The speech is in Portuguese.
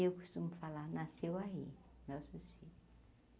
Eu costumo falar, nasceu aí nossos filhos.